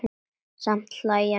Samt hlæja nú menn.